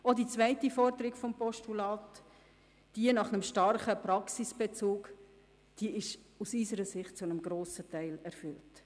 Auch die zweite Forderung des Postulats, jene nach einem starken Praxisbezug, ist aus unserer Sicht zu einem grossen Teil erfüllt.